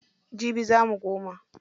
Jibi za mu koma.